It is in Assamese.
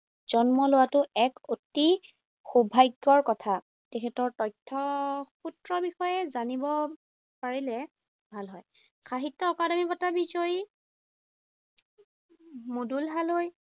জন্ম লোৱাটো এক অতি সৌভাগ্যৰ কথা। তেখেতৰ তথ্য সূত্ৰ বিষয়ে জানিব পাৰিলে ভাল হয়। সাহিত্য অকাডেমী বঁটা বিজয়ী মুদুল হালৈ